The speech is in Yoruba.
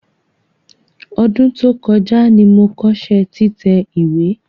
Ọdún tó kọjá ni mo kọ́ṣẹ́ títẹ̀ ìwé.